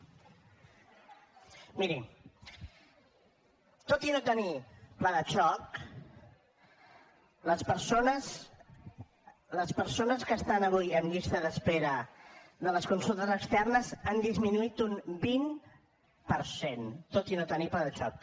miri tot i no tenir pla de xoc les persones que estan avui en llista d’espera de les consultes externes han disminuït un vint per cent tot i no tenir pla de xoc